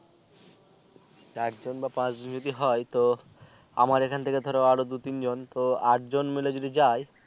চার জন বা পাচ জন যদি হয় তো আমার এখান থেকে আরো দু তিন জন তো আট জন মিলে যদি যাই